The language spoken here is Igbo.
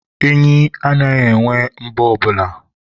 enyi anaghị enwe enwe mbọ ọbụla.